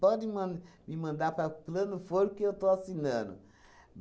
Pode man me mandar para plano for, que eu estou assinando.